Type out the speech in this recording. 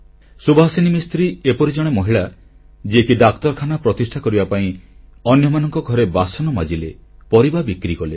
ସୁଭାସିନୀ ମିସ୍ତ୍ରୀ ଏପରି ଜଣେ ମହିଳା ଯିଏକି ଡାକ୍ତରଖାନା ପ୍ରତିଷ୍ଠା କରିବା ପାଇଁ ଅନ୍ୟମାନଙ୍କ ଘରେ ବାସନ ମାଜିଲେ ପରିବା ବିକ୍ରିକଲେ